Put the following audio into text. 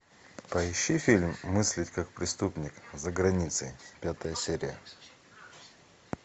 поищи фильм мыслить как преступник за границей пятая серия